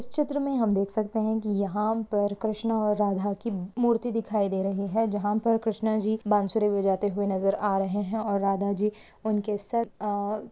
इस चित्र में हम देख सकते है की यहाँ पर कृष्ण और राधा की मूर्ति देखी दे रही है जहा पर कृष्ण जी बासुरी बजाते हुए नजर आ रहे है और राधा जी उनके सर अ--